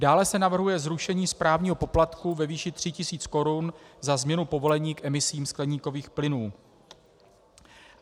Dále se navrhuje zrušení správního poplatku ve výši 3 000 korun za změnu povolení k emisím skleníkových plynů.